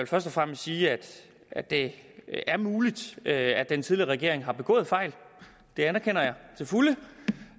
først og fremmest sige at at det er muligt at den tidligere regering har begået fejl det anerkender jeg til fulde